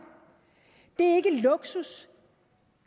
det er ikke luksus